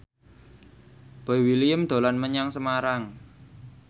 Boy William dolan menyang Semarang